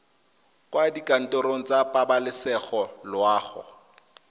kwa dikantorong tsa pabalesego loago